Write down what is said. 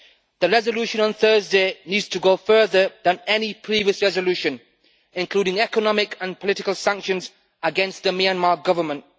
The resolution on Thursday needs to go further than any previous resolution, including economic and political sanctions against the Myanmar government.